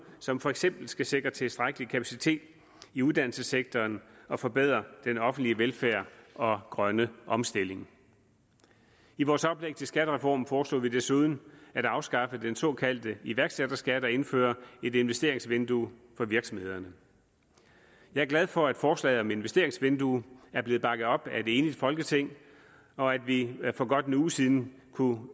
som for eksempel skal sikre tilstrækkelig kapacitet i uddannelsessektoren og forbedre den offentlige velfærd og grønne omstilling i vores oplæg til skattereform foreslog vi desuden at afskaffe den såkaldte iværksætterskat og indføre et investeringsvindue for virksomhederne jeg er glad for at forslaget om et investeringsvindue er blevet bakket op af et enigt folketing og at vi for godt en uge siden kunne